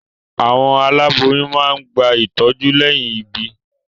Àwọn aláboyún máa ń gba ìtọ́jú lẹ́yìn ìbí.